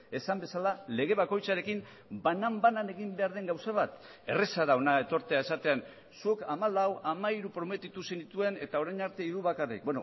esan bezala lege bakoitzarekin banan banan egin behar den gauza bat erraza da hona etortzea esaten zuk hamalau hamairu prometitu zenituen eta orain arte hiru bakarrik